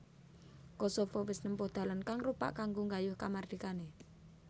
Kosovo wis nempuh dalan kang rupak kanggo nggayuh kamardikané